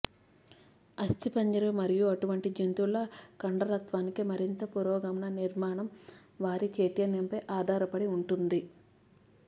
అస్థిపంజరం మరియు అటువంటి జంతువుల కండరత్వానికి మరింత పురోగమన నిర్మాణం వారి చైతన్యంపై ఆధారపడి ఉంటుంది